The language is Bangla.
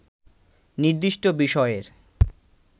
নির্দিষ্ট বিষয়ের